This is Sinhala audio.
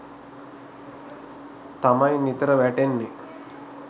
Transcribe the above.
තමයි නිතර වැටෙන්නේ.